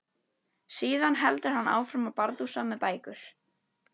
Síðan heldur hann áfram að bardúsa með bækur.